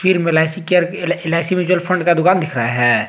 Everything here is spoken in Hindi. में LIC care LIC mutual fund का दुकान दिख रहा है।